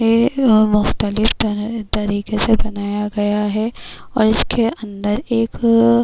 یہ مختلف تر تاریکی سے بنایا گیا ہے اور اسکے اندر ایک--